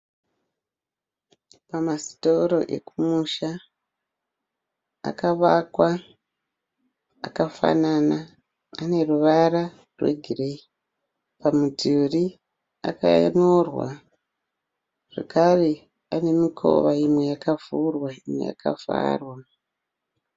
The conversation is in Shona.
Pamasitoro ekumusha akavakwa akafanana ane ruvara rwegireyi. Pamudhuri akanyorwa zvakare ane mikova imwe yakavhurwa imwe yakavharwa.